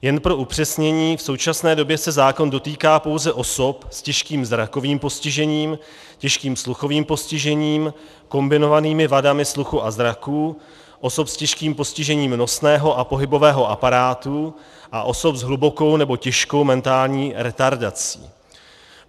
Jen pro upřesnění, v současné době se zákon dotýká pouze osob s těžkým zrakovým postižením, těžkým sluchovým postižením, kombinovanými vadami sluchu a zraku, osob s těžkým postižením nosného a pohybového aparátu a osob s hlubokou nebo těžkou mentální retardací.